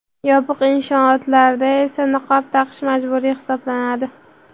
yopiq inshootlarda esa niqob taqish majburiy hisoblanadi.